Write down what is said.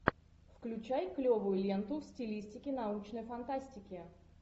включай клевую ленту в стилистике научной фантастики